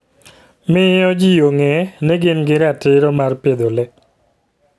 Miyo ji ong'e ni gin gi ratiro mar pidho le.